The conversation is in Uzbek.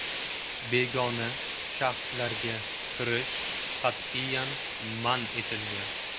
Begona shaxslarga kirish qat’iyan man etilgan.